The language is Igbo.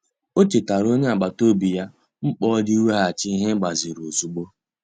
Ọ chetaara onye agbata obi ya mkpa ọ dị iweghachi ihe e gbaziri ozugbo.